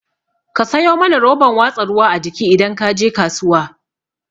Ka sayo mana roban watsa ruwa a jiki idan kaje kasuwa